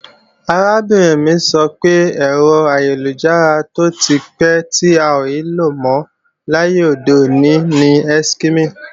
Arábìnrin mi sọ pé, ẹ̀rọ ayélujára tó ti pẹ́ tí a ò lò mọ́ láyé òde òní ni Eskimi